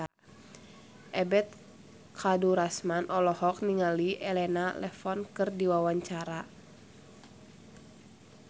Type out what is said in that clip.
Ebet Kadarusman olohok ningali Elena Levon keur diwawancara